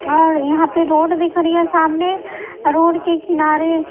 और यहां पे रोड दिख रही है सामने रोड के किनारे--